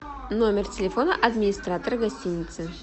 номер телефона администратора гостиницы